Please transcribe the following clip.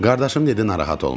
Qardaşım dedi narahat olma.